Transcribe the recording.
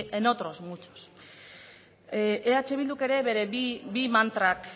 en otros muchos eh bilduk ere bere bi mantrak